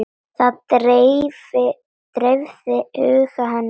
Það dreifði huga hennar.